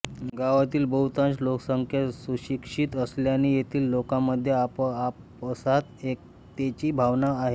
गावातील बहुतांश लोकसंख्या सुशिक्षित असल्याने येथील लोकांमधे आपआपसात एकतेची भावना आहे